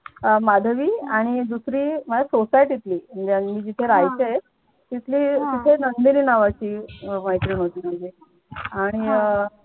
माधवी आणि दुसरी माझ्या society तली म्हणजे मी जिथे राहायचे तिथे एक नंदिनी नावाची मैत्रीण होती म्हणजे आणि अह